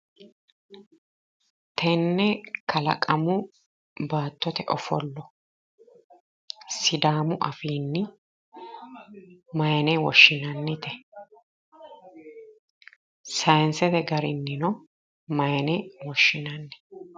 Tenne kalaqamu baattote ofallo sidaamu afiin maayne woahinannite? sayinsete gariniino maayne woshinanni?